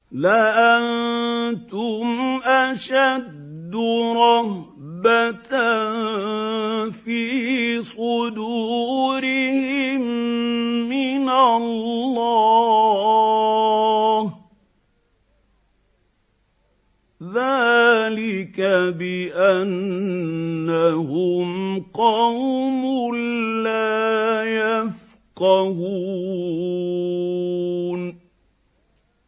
لَأَنتُمْ أَشَدُّ رَهْبَةً فِي صُدُورِهِم مِّنَ اللَّهِ ۚ ذَٰلِكَ بِأَنَّهُمْ قَوْمٌ لَّا يَفْقَهُونَ